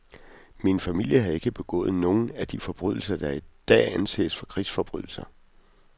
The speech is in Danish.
Min familie havde ikke begået nogen af de forbrydelser, der i dag anses for krigsforbrydelser .